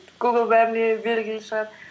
гугл бәріне белгілі шығар